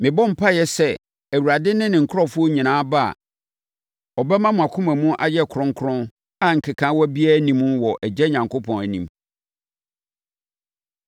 Mebɔ mpaeɛ sɛ Awurade ne ne nkurɔfoɔ nyinaa ba a, ɔbɛma mo akoma mu ayɛ kronkron a nkekaawa biara nni mu wɔ Agya Onyankopɔn anim.